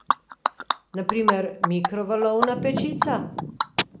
Na primer mikrovalovna pečica?